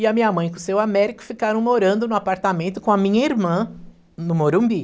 E a minha mãe com o seu Américo ficaram morando no apartamento com a minha irmã no Morumbi.